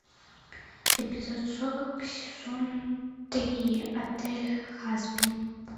эпизод сорок сезон три отель хасбин